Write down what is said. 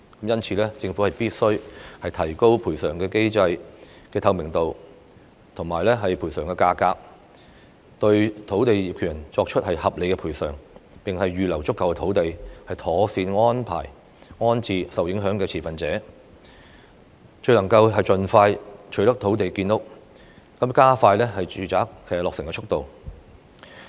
因此，政府必須提高賠償機制的透明度和賠償費用，對土地業權人作出合理的賠償；並預留足夠土地，妥善安排及安置受影響的持份者，這樣才能夠盡快取得土地建屋，加快住宅落成的速度。